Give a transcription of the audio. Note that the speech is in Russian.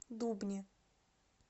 дубне